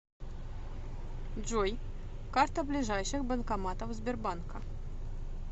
джой карта ближайших банкоматов сбербанка